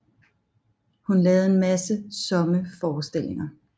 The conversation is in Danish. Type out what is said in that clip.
Hun lavede en masse somme teaterforestillinger